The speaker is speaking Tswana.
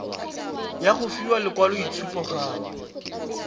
ya go fiwa lekwaloitshupo gape